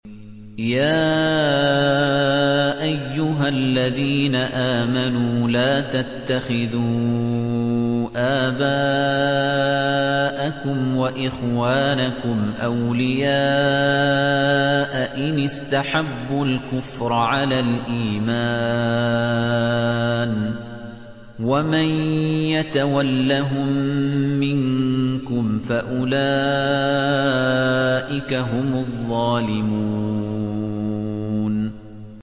يَا أَيُّهَا الَّذِينَ آمَنُوا لَا تَتَّخِذُوا آبَاءَكُمْ وَإِخْوَانَكُمْ أَوْلِيَاءَ إِنِ اسْتَحَبُّوا الْكُفْرَ عَلَى الْإِيمَانِ ۚ وَمَن يَتَوَلَّهُم مِّنكُمْ فَأُولَٰئِكَ هُمُ الظَّالِمُونَ